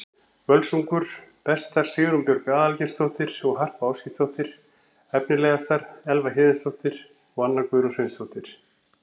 Völsungur: Bestar: Sigrún Björg Aðalgeirsdóttir og Harpa Ásgeirsdóttir Efnilegastar: Elva Héðinsdóttir og Anna Guðrún Sveinsdóttir